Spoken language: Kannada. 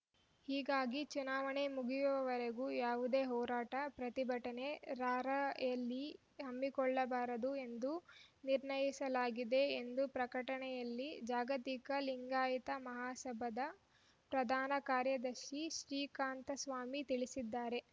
ಹೀಗಾಗಿ ಚುನಾವಣೆ ಮುಗಿಯುವವರೆಗೆ ಯಾವುದೇ ಹೋರಾಟ ಪ್ರತಿಭಟನೆ ರಾರ‍ಯಲಿ ಹಮ್ಮಿಕೊಳ್ಳಬಾರದು ಎಂದು ನಿರ್ಣಯಿಸಲಾಗಿದೆ ಎಂದು ಪ್ರಕಟಣೆಯಲ್ಲಿ ಜಾಗತಿಕ ಲಿಂಗಾಯತ ಮಹಾಸಭಾದ ಪ್ರಧಾನ ಕಾರ್ಯದರ್ಶಿ ಶ್ರೀಕಾಂತ ಸ್ವಾಮಿ ತಿಳಿಸಿದ್ದಾರೆ